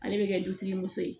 Ale bɛ kɛ dutigi muso ye